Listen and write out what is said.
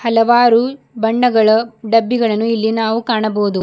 ಹಲವಾರು ಬಣ್ಣಗಳ ಡಬ್ಬಿಗಳನ್ನು ಇಲ್ಲಿ ನಾವು ಕಾಣಬಹುದು.